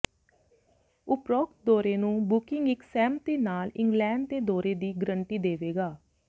ਉਪਰੋਕਤ ਦੌਰੇ ਨੂੰ ਬੁਕਿੰਗ ਇਕ ਸਹਿਮਤੀ ਨਾਲ ਇੰਗਲੈਂਡ ਦੇ ਦੌਰੇ ਦੀ ਗਰੰਟੀ ਦੇਵੇਗਾ